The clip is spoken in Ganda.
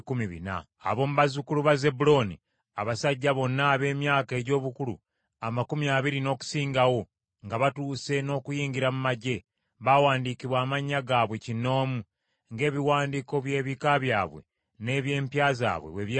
Ab’omu bazzukulu ba Zebbulooni: Abasajja bonna ab’emyaka egy’obukulu amakumi abiri n’okusingawo, nga batuuse n’okuyingira mu magye, baawandiikibwa amannya gaabwe kinoomu, ng’ebiwandiiko by’ebika byabwe n’eby’empya zaabwe bwe byali.